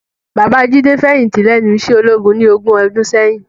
Baba Jide fèyinti lènú iṣè ólógún ni ógùn òdùn sèyin